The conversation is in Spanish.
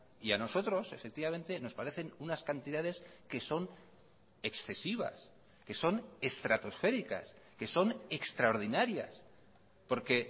y a nosotros efectivamente nos parecen unas cantidades que son excesivas que son estratosféricas que son extraordinarias porque